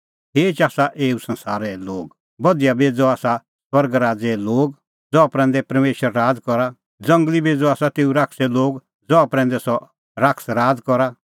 खेच आसा एऊ संसारे लोग बधिया बेज़अ आसा स्वर्ग राज़े लोग ज़हा प्रैंदै परमेशर राज़ करा ज़ंगली बेज़अ आसा तेऊ शैताने लोग ज़हा प्रैंदै सह शैतान करा राज़